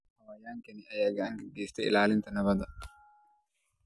Xayawaankan ayaa gacan ka geysta ilaalinta nabadda.